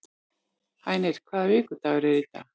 Hænir, hvaða vikudagur er í dag?